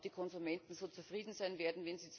Ob die Konsumenten zufrieden sein werden?